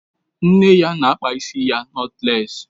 Nne ya na-akpa ya ịsị nọtlés